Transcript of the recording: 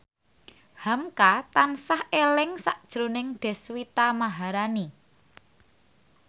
hamka tansah eling sakjroning Deswita Maharani